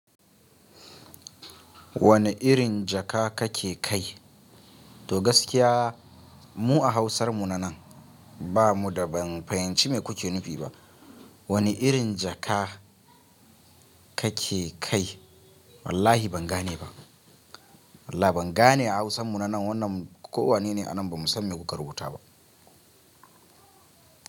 Wane irin jaka kake kai? To gaskiya mu a Hausar mu na nan nan ba mu da ban fahimci me kuke nufi ba. Wane irin jaka kake kai? Wallahi ban gane ba. Wallah ban gane a Hausan mu nan wannan ko wane ne a nan ba mu san me kuka rubuta ba.